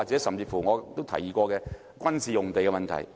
甚至我也提議過，有關軍事用地的問題？